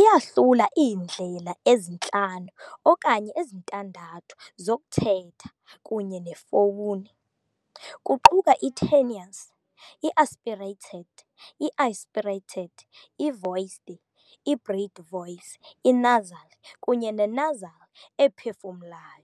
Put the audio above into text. iyahlula iindlela ezintlanu okanye ezintandathu zokuthetha kunye nefowuni, kuquka i-tenuis , i-aspirated , i-aspirated, i-voiced, i-breath voice, i-nasal, kunye ne-nasal ephefumulayo.